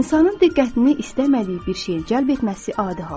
İnsanın diqqətini istəmədiyi bir şeyə cəlb etməsi adi haldır.